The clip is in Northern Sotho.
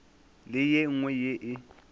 le ye nngwe ye e